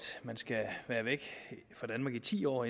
man skal være væk fra danmark i ti år